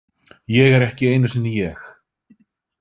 Ég er ekki einu sinni ég.